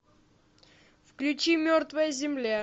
включи мертвая земля